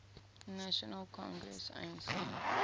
national congress anc